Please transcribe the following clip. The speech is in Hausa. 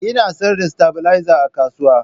Ina sayar da stabilizer a kasuwa